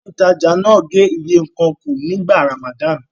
Ilé-ìtajà náà gé iye nǹkan kù nígbà Ramadan.